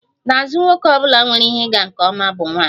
N'azụ nwoke ọ bụla nwere ihe ịga nke ọma bụ nwanyị